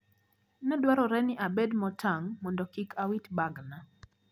Nedwarore ni abed motang` mondo kik awit bagna.